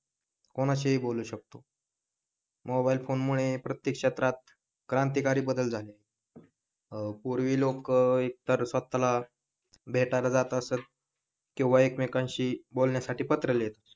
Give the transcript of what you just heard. कोणाशी ही बोलू शकतो. मोबाईल फोन मुळे प्रत्येक क्षेत्रात क्रांतिकारी बदल झाले अं पूर्वी लोक एकतर स्वतः भेटायला किंवा एकमेकांशी बोलण्यासाठी पत्र लिहीत असत.